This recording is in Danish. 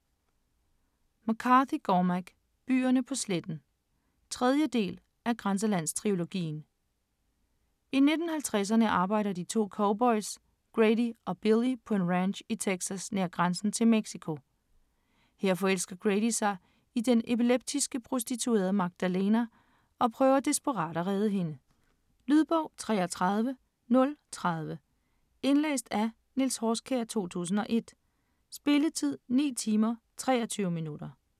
McCarthy, Cormac: Byerne på sletten 3. del af Grænselandstrilogien. I 1950'erne arbejder de 2 cowboys Grady og Billy på en ranch i Texas nær grænsen til Mexico. Her forelsker Grady sig i den epileptiske prostituerede Magdalena og prøver desperat at redde hende. Lydbog 33030 Indlæst af Niels Horskjær, 2001. Spilletid: 9 timer, 23 minutter.